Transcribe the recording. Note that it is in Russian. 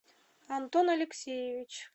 антон алексеевич